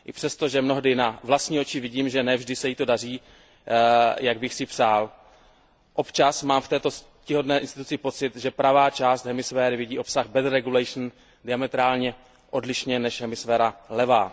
I přesto, že mnohdy na vlastní oči vidím, že ne vždy se jí to daří, jak bych si přál. Občas mám v této ctihodné instituci pocit, že pravá hemisféra vidí obsah better regulation diametrálně odlišně od hemisféry levé.